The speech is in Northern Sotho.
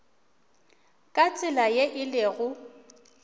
ka tsela ye e lego